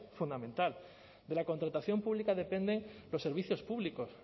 fundamental de la contratación pública dependen los servicios públicos